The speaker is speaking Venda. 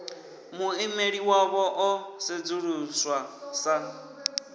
muimeli wavho o sedzuluswa sa